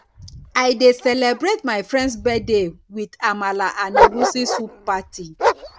i dey celebrate my friends birthday with amala and egusi soup party